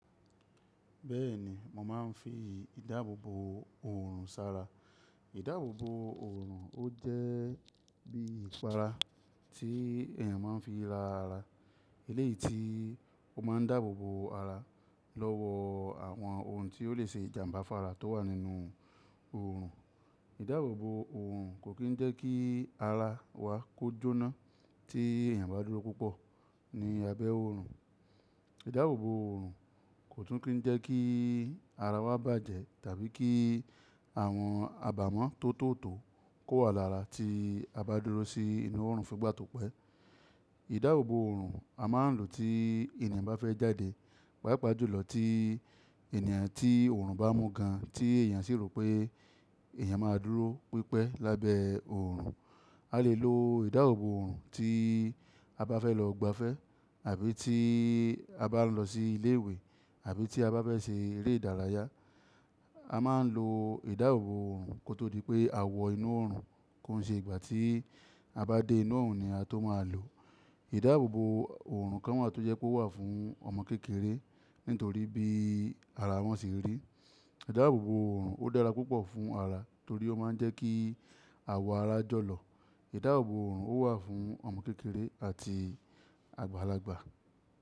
Bẹ́ẹ̀ni, mo máa ń fi ìdáàbòbò òòrùn sára. Ìdáàbòbò òòrùn ó jẹ́ bí ìpara tí èèyàn máa ń fi ra ara. Eléyìí tí ó máa ń dáàbò bo ara lọ́wọ́ àwọn ohun tí ó lè ṣe ìjàmbá fára tó wà nínú òòrùn. Ìdáàbòbò òòrùn kò kín ń jẹ́ kí ara wa kó jóná tí èèyàn bá dúró púpọ̀ ní abẹ́ òòrùn. Ìdáàbòbò òòrùn kò tún kín ń jẹ́ kí ara wa bàjẹ́ tàbí kí àwọn abàmọ́ tó tó tò kó wa lára tí a bá dúró sí inú òòrùn fun igbá tòpẹ́. Ìdáàbòbò òòrùn a máa ń lò tí èèyàn bá fẹ́ jáde, pàápàá jùlọ tí èèyàn tí òòrùn bá mú gan, tí èèyàn sì rò pé èèyàn máa dúró pípẹ́ lábẹ́ òòrùn. A lè lo ìdáàbòbò òòrùn tí a bá fẹ́ lọ gbafẹ́ àbí tí a bá ń lọ sí ilé ìwé àbí tí a bá fẹ́ ṣe eré ìdárayá. A máa ń lo ìdáàbòbò òòrùn kó tó di pé a wọ inú òòrùn, kó n ṣe ìgbà tí a bá dé inú òòrùn ni a tó máa lò ó. Ìdáàbòbò òòrùn kán wà tó jẹ́ pé ó wà fún ọmọ kékeré nítorí bí ara wọn ṣe rí. Ìdáàbòbò òòrùn ó dára púpọ̀ fún ara torí ó máa ń jẹ́ kí àwọ̀ ara jọ̀lọ̀. Ìdáàbòbò òòrùn ó wà fún ọmọ kékeré àti àgbàlagbà.